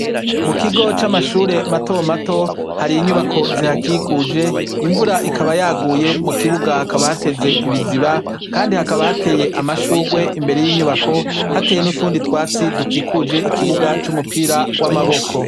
Mu kigo c'amashure matomato hari inyubako zihakikuje. Imvura ikaba yaguye mu kibuga hakaba hateze ibiziba kandi hakaba hateye amashurwe imbere y'inyubako, hateye n'utundi twatsi dukikuje ikibuga c'umupira w'amaboko.